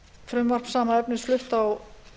frumvarp sama efnis flutt á